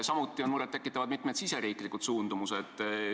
Samuti on murettekitavad mitmed riigisisesed suundumused.